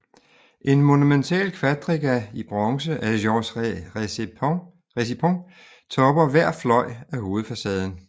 En monumental quadriga i bronze af Georges Récipon topper hver fløj af hovedfacaden